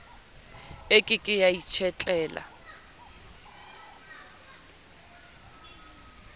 e ke ke ya itshetlela